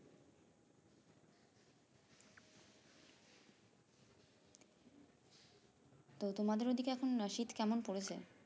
তো তোমাদের ওই দিকে এখন শীত কেমন পড়েছে